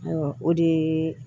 Ayiwa o de ye